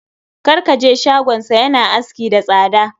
Kar ka je shagonsa. Ya na aski da tsada.